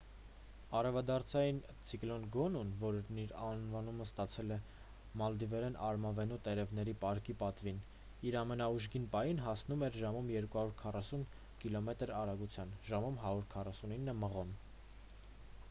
արևադարձային ցիկլոն գոնուն որն իր անվանումը ստացել է մալդիվերեն արմավենու տերևների պարկի պատվին իր ամենաուժգին պահին հասնում էր ժամում 240 կիլոմետր արագության ժամում 149 մղոն: